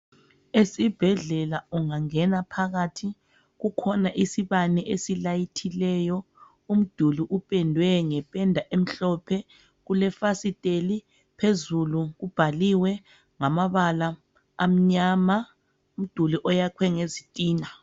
Esibhedlela ungangena phakathi kukhona isibane esilayithileyo umduli upendwe ngependa emhlophe kulefasiteli phezulu kubhaliwe ngamabala amnyama umduli oyakhwe ngezitina.